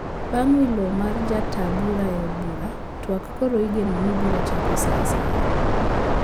Bang` welo mar ja taa bura e od bura twak koro igeno ni biro chako saa asaya